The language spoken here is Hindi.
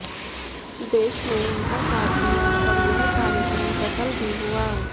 देश ने उनका साथ दिया और यह कार्यक्रम सफल भी हुआ